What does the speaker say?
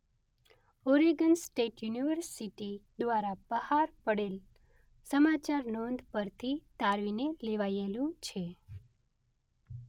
Oregon state university દ્વારા બહાર પડેલ સમાચારનોંધ પરથી તારવીને લેવાયેલું.